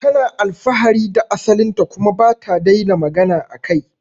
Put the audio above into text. Tana alfahari da asalin ta kuma bata daina magana akai